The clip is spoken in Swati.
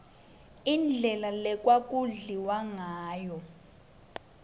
indlela lekwaku dliwangayo